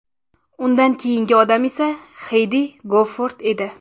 Undan keyingi odam esa Xeydi Gofort edi.